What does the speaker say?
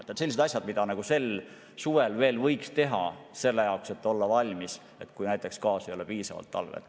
Need on asjad, mida sel suvel veel võiks teha, et olla valmis, kui näiteks gaasi ei ole talvel piisavalt.